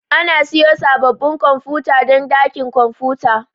Ana siyo sabbabin kwamfuta don dakin kwamfuta.